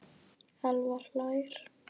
Elvar hlær.